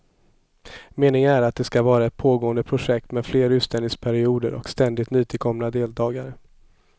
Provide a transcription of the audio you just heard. Meningen är att det ska vara ett pågående projekt med fler utställningsperioder och ständigt nytillkomna deltagare.